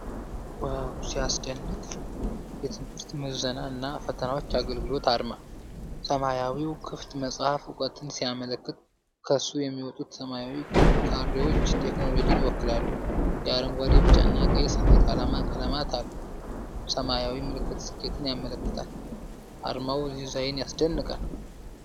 ዋው ሲያስደንቅ! የትምህርት ምዘና እና ፈተናዎች አገልግሎት አርማ። ሰማያዊው ክፍት መጽሐፍ እውቀትን ሲያመለክት፣ ከሱ የሚወጡት ሰማያዊ ካሬዎች ቴክኖሎጂን ይወክላሉ። የአረንጓዴ፣ ቢጫና ቀይ ሰንደቅ ዓላማ ቀለማት አሉ። ሰማያዊው ምልክት ስኬትን ያመለክታል። የአርማው ዲዛይን ያስደንቃል!